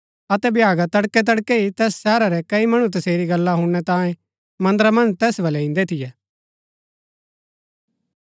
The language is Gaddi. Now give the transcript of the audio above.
अतै भ्यागा तड़कैतड़कै ही तैस शहरा रै कई मणु तसेरी गल्ला हुणनै तांयें मन्दरा मन्ज तैस बल्लै इन्दै थियै